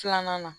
Filanan na